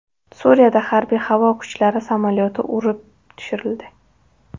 Suriyada harbiy-havo kuchlari samolyoti urib tushirildi.